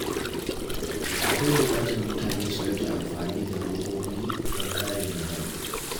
Akwai buƙatar mutane su rage amfani da robobi don kare muhalli.